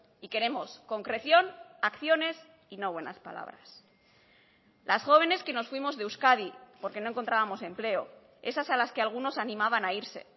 y queremos concreción acciones y no buenas palabras las jóvenes que nos fuimos de euskadi porque no encontrábamos empleo esas a las que algunos animaban a irse